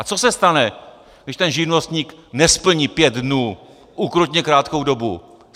A co se stane, když ten živnostník nesplní pět dnů, ukrutně krátkou dobu?